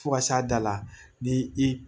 Fo ka s'a da la ni i